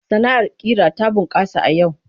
Sana'ar ƙira ta bunƙasa a yau.